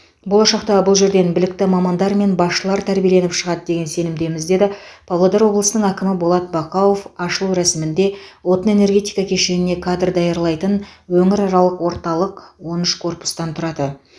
болашақта бұл жерден білікті мамандар мен басшылар тәрбиеленіп шығады деген сенімдеміз деді павлодар облысының әкімі болат бақауов ашылу рәсімінде отын энергетика кешеніне кадр даярлайтын өңіраралық орталық он үш корпустан тұрады